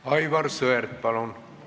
Aivar Sõerd, palun!